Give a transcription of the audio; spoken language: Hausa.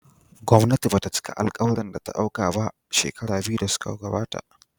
Gwamnati ba ta cika alkawurin da ta dauka ba shekaru biyu da suka gabata.